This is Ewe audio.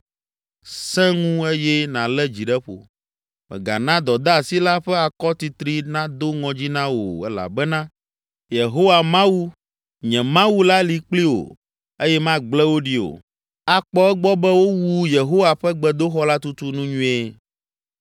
Sẽ ŋu eye nàlé dzi ɖe ƒo. Mègana dɔdeasi la ƒe akɔtitri nado ŋɔdzi na wò o elabena Yehowa, Mawu nye Mawu la li kpli wò eye magblẽ wò ɖi o. Akpɔ egbɔ be wowu Yehowa ƒe gbedoxɔ la tutu nu nyuie.